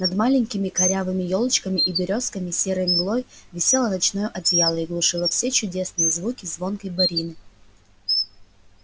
над маленькими корявыми ёлочками и берёзками серой мглой висело ночное одеяло и глушило все чудесные звуки звонкой борины